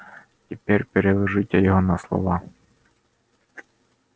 теперь переложите его на слова